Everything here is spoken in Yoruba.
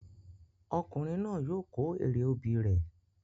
Ọkùnrin náà yóò kó èrè obì rẹ